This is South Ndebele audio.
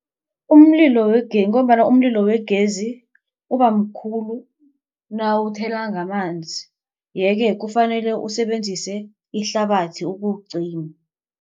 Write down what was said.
Umlilo ngombana umlilo wegezi uba mkhulu nawuthela ngamanzi. Yeke kufanele usebenzise ihlabathi ukuwucima.